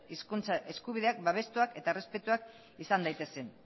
hizkuntza eskubideak babestuak eta errespetatuak izan daitezen